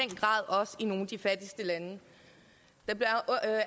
grad i nogle af de fattigste lande det bliver